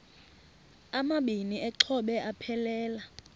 amabini exhobe aphelela